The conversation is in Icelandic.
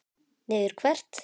Niður hvert?